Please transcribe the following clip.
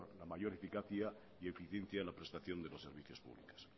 la mayor eficacia y eficiencia en la prestación de los servicios públicos